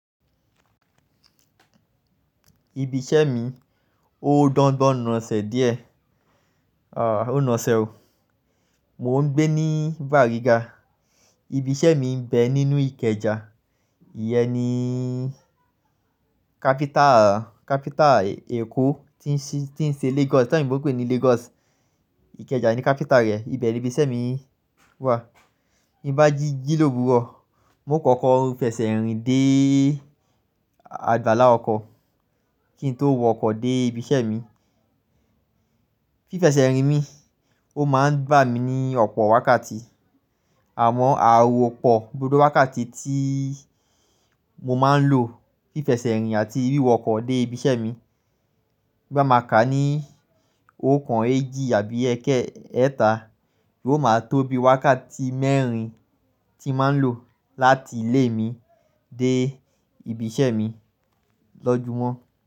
Ibi iṣẹ́ mi ó dọ gbon ná ṣẹ́ díẹ̀. À, ó ná ṣẹ́ o. Mo ń gbé ní Bàrígà, ibi iṣẹ́ mi ń bẹ ní inú Ìkẹjà, ìyẹn ni capital Èkó tí ń ṣe Lagos ibi tí àwọn ẹ̀yìnbó ń pè ní Lagos, Ìkẹjà ni capital rẹ̀. Ibe ni ibi iṣẹ́ mi wà. Bí n bá jí, jí lò wúro, un o kọ́kọ́ fi eṣẹ̀ rìn dé àgbàlá ọkọ̀ kí n tó wọ ọkọ̀ dé ibi iṣẹ́ mi. Fi feṣẹ̀ rìn mi, ó máa ń gbà mí ní ọ̀pọ̀ wákàtí. Àmọ́ awopo gbogbo wákàtí tí mo máa ń lò fi feṣẹ̀ rìn àti wíwọ ọkọ̀ dé ibi iṣẹ́ mi bá máa ka ní oko eéjì àbí ẹkẹ ẹẹ́ta, yóò máa tóbi wákàtí mẹ́rin tí mo máa ń lò láti ilé mi dé ibi iṣẹ́ mi lọ́júmọ́.